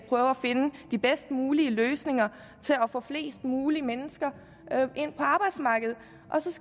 prøve at finde de bedst mulige løsninger til at få flest mulige mennesker ind på arbejdsmarkedet